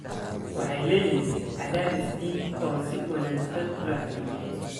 waxay leeyihiin cadaadis dhiig oo si wanaagsan loo xakameeyay.